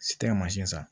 Tɛ mansin san